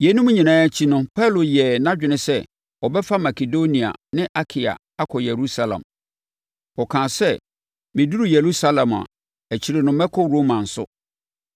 Yeinom nyinaa akyi no Paulo yɛɛ nʼadwene sɛ ɔbɛfa Makedonia ne Akaia akɔ Yerusalem. Ɔkaa sɛ, “Meduru Yerusalem a, akyire no mɛkɔ Roma nso.”